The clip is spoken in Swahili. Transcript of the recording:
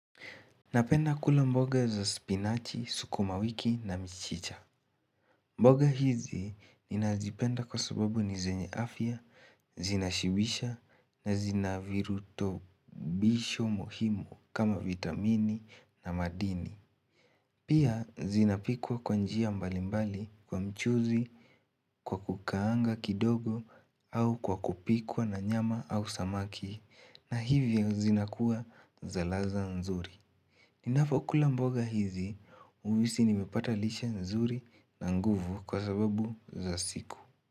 Napenda kula mboga za spinachi, sukumawiki na michicha mboga hizi ninazipenda kwa sababu ni zenye afya, zinashibisha na zinavirutobisho muhimu kama vitamini na madini Pia zinapikwa kwa njia mbalimbali kwa mchuzi, kwa kukaanga kidogo au kwa kupikwa na nyama au samaki na hivyo zinakuwa za ladha nzuri Ninapokula mboga hizi, uhisi nimepata lishe nzuri na nguvu kwa sababu za siku.